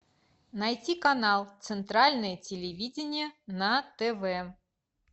найти канал центральное телевидение на тв